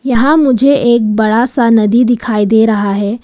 यहां मुझे एक बड़ा सा नदी दिखाई दे रहा है।